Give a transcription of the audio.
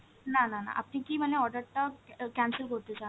না না না আপনি কি মানে order টা ক্যা~ cancel করতে চান